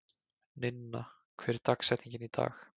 Ninna, hver er dagsetningin í dag?